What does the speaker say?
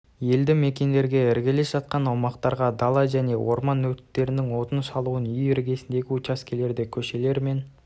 елді мекендерге іргелес жатқан аумақтарға дала және орман өрттерінің отының шашылуын үй іргесіндегі учаскелерде көшелер мен